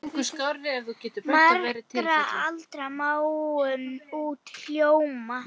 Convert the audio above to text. Margra alda máum út hljóm?